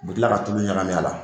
U bi tila ka tulu ɲagami a la